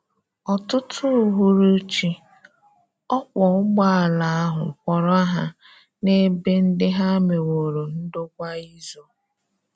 Ọ̀tụtụ ùhùrùchí, ọkwọ́ ụgbọala ahụ kwọọrọ Ha n’ebe ndị ha mewòrò ndọ́kwa izò.